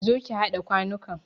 Zo ki haɗa kwanukan!